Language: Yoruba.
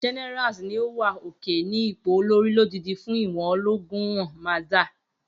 Generals ni o wa oke-ni ipo olori, lodidi fun ìwò ologun nwon. Mirza.